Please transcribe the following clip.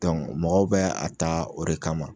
mɔgɔw bɛ a taa o de kama.